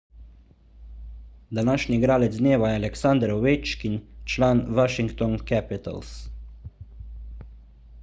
današnji igralec dneva je aleksander ovečkin član washington capitals